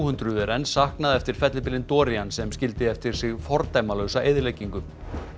hundruð er enn saknað eftir fellibylinn sem skildi eftir sig fordæmalausa eyðileggingu